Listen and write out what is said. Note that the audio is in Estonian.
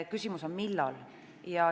Küsimus on, millal.